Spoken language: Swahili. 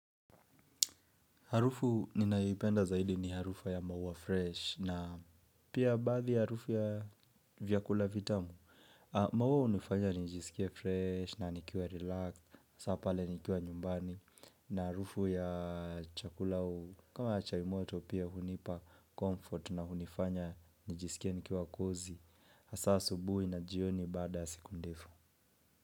Harufu ninayoipenda zaidi ni harufu ya maua fresh na pia baadhi ya harufu ya vyakula vitamu. Maua hunifanya nijisikie fresh na nikiwa relax. Hasa pale nikiwa nyumbani na harufu ya chakula kama chai moto pia hunipa comfort na hunifanya nijisikie nikiwa cozy. Hasa asubuhi na jioni baada siku ndefu.